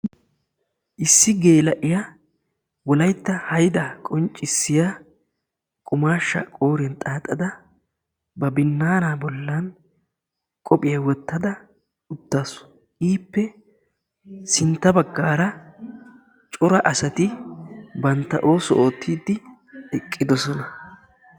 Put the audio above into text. issi gela'iyaa wolaytta haydda qonccissiya qummashsha qooriyan xaxadda ba binaanaa bollan qophphiya wottadda eqqaasu, ippe sintta bagggara cora asati bantta oosuwaa oottide ekkidoosona.